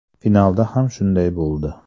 Finalda ham shunday bo‘ldi.